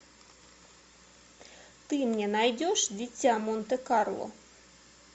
ты мне найдешь дитя монте карло